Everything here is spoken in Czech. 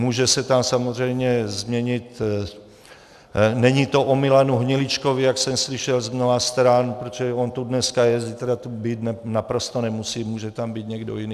Může se to samozřejmě změnit - není to o Milanu Hniličkovi, jak jsem slyšel z mnoha stran, protože on tu dneska je, zítra tu být naprosto nemusí, může tam být někdo jiný.